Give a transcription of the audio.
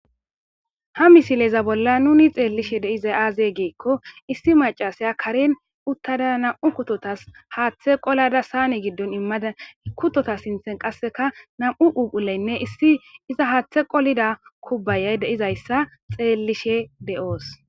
Ha misileza bolla nun xelishe de'zay aaze gikon issi macasiya Karen utada nam'u kutotas haathe qolada saane giddon imada kutota sinthan qaseka nam'u phuphphuleyne iza haathe qolada kubayayi de'izaysa xeelishe de'os.